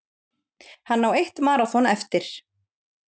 Hann á eitt maraþon eftir